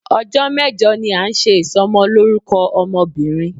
Ọjọ́ mẹ́jọ ni a ń ṣe Ìsọmọlórúkọ ọmọ bìnrin.